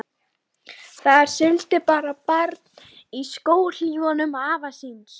Þarna siglir barn í skóhlífum afa síns.